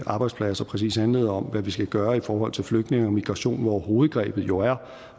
arbejdspladser præcis handlede om hvad vi skal gøre i forhold til flygtninge og migration hvor hovedgrebet jo er